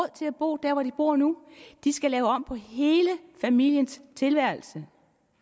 til at bo der hvor de bor nu de skal lave om på hele familiens tilværelse